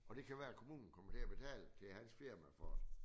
Og det kan være at kommunen kommer til at betale til hans firma for